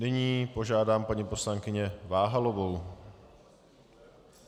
Nyní požádám paní poslankyni Váhalovou.